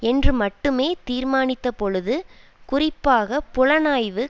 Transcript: என்று மட்டுமே தீர்மானித்த பொழுது குறிப்பாக புலனாய்வு